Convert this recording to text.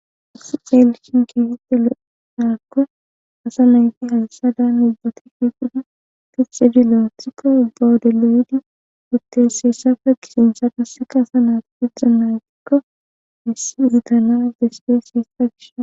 His eelshin keehite lo'edakko asa nayti halsadan ibbati fiqudu pixxidi lo'otriko ubbawodeloyidi utteseeshafe gishinchadaseka asa naat piddan naytikko hissi zitana despeeshi hissa gishan